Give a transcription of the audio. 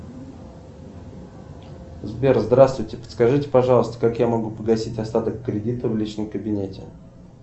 сбер здравствуйте подскажите пожалуйста как я могу погасить остаток кредита в личном кабинете